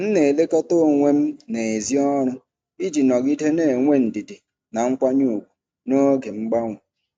M na-elekọta onwe m n’èzí ọrụ iji nọgide na-enwe ndidi na nkwanye ùgwù n’oge mgbanwe.